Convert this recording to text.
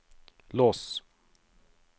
lås